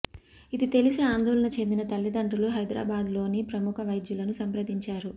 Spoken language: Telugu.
ఇది తెలిసి ఆందోళన చెందిన తల్లిదండ్రులు హైదరాబాద్లోని ప్రముఖ వైద్యులను సంప్రదించారు